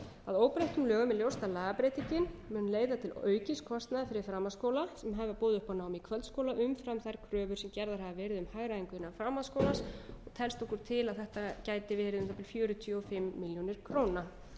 að óbreyttum lögum er ljóst að lagabreytingin mun leiða til aukins kostnaðar fyrir framhaldsskóla sem hafa boðið upp á nám í kvöldskóla umfram þær kröfur sem gerðar hafa verið um hagræðingu innan framhaldsskólans telst okkur til að þetta gætu verið um það bil fjörutíu og fimm milljónir króna